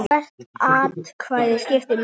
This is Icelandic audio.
Hvert atkvæði skiptir máli.